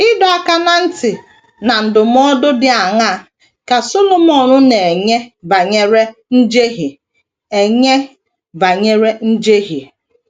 Ịdọ aka ná ntị na ndụmọdụ dị aṅaa ka Solomọn na - enye banyere njehie enye banyere njehie?